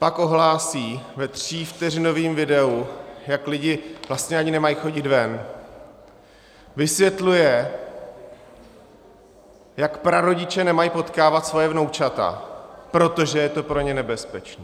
Pak ohlásí ve třívteřinovém videu, jak lidi vlastně ani nemají chodit ven, vysvětluje, jak prarodiče nemají potkávat svoje vnoučata, protože je to pro ně nebezpečné.